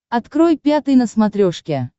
открой пятый на смотрешке